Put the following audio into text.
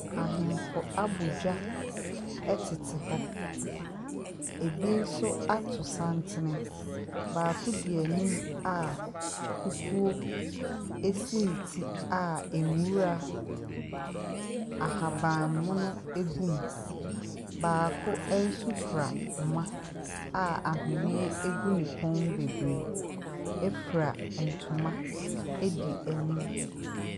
Ahemfo abɔ dwa tete hɔ. Ebi nso ato santene. Baako di anim a kukuo si ne ti a nwura ahaban mono gum. Baako nso kura ahoma a ahwenneɛ gu ne kɔn mu bebree, fura ntoma di anim.